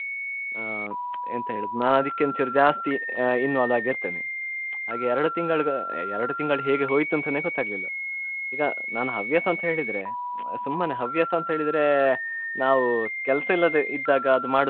ಆ ಎಂತ ಹೇಳುದು ನಾ ಆದಿಕ್ಕೆ ಒಂಚೂರು ಜಾಸ್ತಿ involve ಆಗಿ ಇರ್ತೆನೆ ಹಾಗೆ ಎರಡು ತಿಂಗಳು ಎರಡು ತಿಂಗಳು ಹೇಗೆ ಹೋಯ್ತ್ ಅಂತಾನೆ ಗೊತ್ತಾಗ್ಲಿಲ್ಲ ಈಗ ನಾನ್ ಹವ್ಯಾಸ ಅಂತ ಹೇಳಿದ್ರೆ ಸುಮ್ಮನೆ ಹವ್ಯಾಸ ಅಂತ ಹೇಳಿದ್ರೆ ನಾವ್ ಕೆಲ್ಸ ಇಲ್ಲದೆ ಇದ್ದಾಗ ಮಾಡುದು.